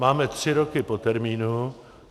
Máme tři roky po termínu.